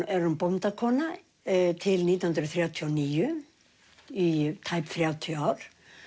er hún bóndakona til nítján hundruð þrjátíu og níu í tæp þrjátíu ár